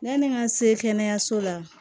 Yanni n ka se kɛnɛyaso la